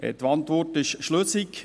Die Antwort ist schlüssig.